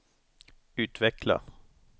utveckla